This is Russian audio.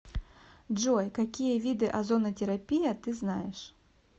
джой какие виды озонотерапия ты знаешь